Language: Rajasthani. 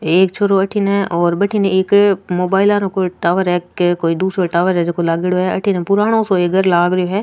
एक छोरो अठिन और बटीन एक मोबाइल आरो कोई टावर है के कोई दुसरो टॉवर है झकाे लागेडो है अठिन एक पुराणों सो घर लाग रो है।